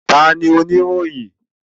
Ta ní Oníròyìn?